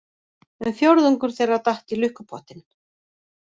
Um fjórðungur þeirra datt í lukkupottinn